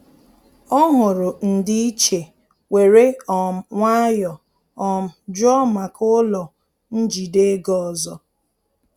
Ọ hụrụ ndị-iche were um nwayọ um jụọ maka ụlọ njide ego ọzọ